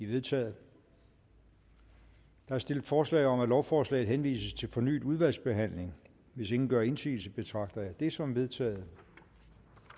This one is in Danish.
vedtaget der er stillet forslag om at lovforslaget henvises til fornyet udvalgsbehandling hvis ingen gør indsigelse betragter jeg det som vedtaget